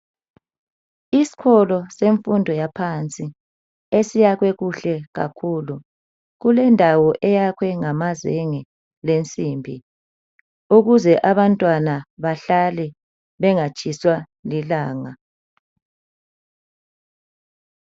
Isikolo semfundo yaphansi esiyakhwe kuhle kakhulu. Kulendawo eyakhwe ngamazenge lensimbi ukuze abantwana bahlale bengatshiswa lilanga.